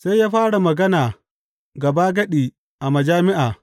Sai ya fara magana gabagadi a majami’a.